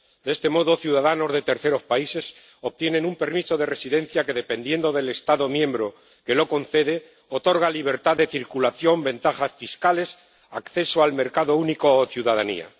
De este modo, ciudadanos de terceros países obtienen un permiso de residencia que, dependiendo del Estado miembro que lo concede, otorga libertad de circulación, ventajas fiscales, acceso al mercado único o ciudadanía.